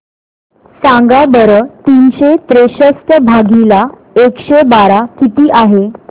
सांगा बरं तीनशे त्रेसष्ट भागीला एकशे बारा किती आहे